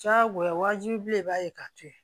Diyagoya waajibilen i b'a ye k'a to ye